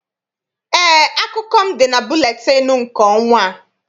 Eé, akụkọ m dị na buletịịnụ nke ọnwa a.